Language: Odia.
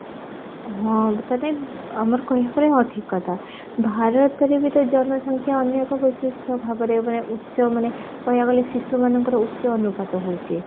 ହଁ ଆମର କହିବାକୁ ଗଲେ ହଁ ଠିକ କଥା ଭରତରେ ବି ତ ଜନସଂଖ୍ୟା ଅନ୍ୟ ଏକ ବୈଶିଷ୍ଟ ଭାବରେ ଉଚ୍ଚ ମାନେ କହିବାକୁ ଗଲେ ଶିଶୁମାନଙ୍କର ଉଚ୍ଚ ଅନୁପାତ ହଉଛି